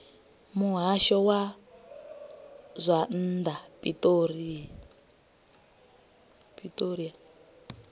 muhasho wa zwa nnḓa pretoria